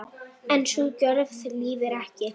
En sú gjörð lifir ekki.